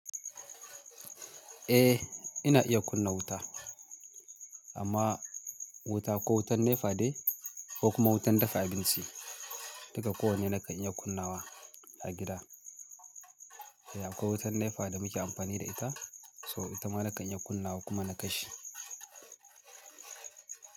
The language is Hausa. Eh ina iya kunna wuta ama wuta ko wuta nepa dai ko wuta dafa abinci. Duka kowanne na kan iya kunnawa a gida. Akwai wutar NEPA da muke amfani da ita so ita ma na kan iya kunnawa kuma na kashe.